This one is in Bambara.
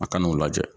A kan'o lajɛ